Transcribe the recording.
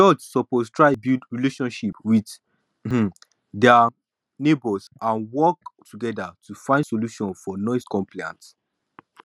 church suppose try build relationship with um dia neighbors and work together to find solutions for noise complaints